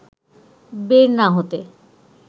বের না হতে